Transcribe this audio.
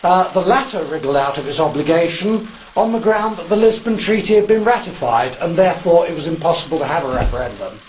the latter wriggled out of its obligation on the ground that the Lisbon Treaty had been ratified and therefore, it was impossible to have a referendum.